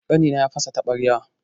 Ƙanina ya fasa taɓarya.